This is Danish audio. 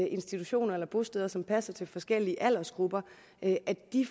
institutioner eller bosteder som passer til forskellige aldersgrupper